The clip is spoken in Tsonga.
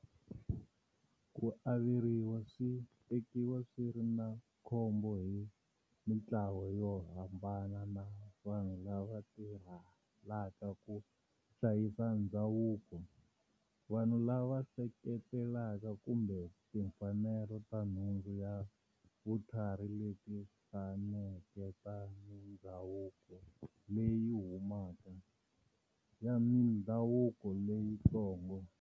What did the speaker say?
Ku averiwa swi tekiwa swiri na khombo hi mintlawa yo hambana na vanhu lava tirhelaka ku hlayisa ndzhavuko, vanhu lava seketelaka kumbe timfanelo ta nhundzu ya vutlhari leti hlaneke ta mindzhavuko leyi humaka, ya mindhavuko leyitsongo.